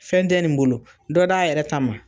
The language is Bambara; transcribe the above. Fɛn tɛ nin bolo dɔ d'a yɛrɛ ta ma